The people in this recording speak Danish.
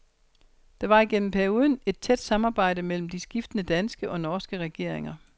Der var igennem perioden et tæt samarbejde mellem de skiftende danske og norske regeringer.